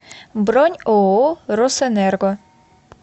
бронь ооо росэнерго